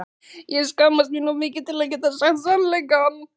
Ég skammaðist mín of mikið til að geta sagt sannleikann.